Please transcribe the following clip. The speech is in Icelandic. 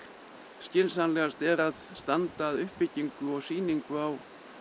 skynsamlegast er að standa að uppbyggingu og sýningu á